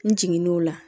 N jigin n'o la